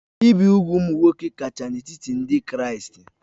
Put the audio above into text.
Ibi úgwù nwoke kacha n'etiti ndị Kraịst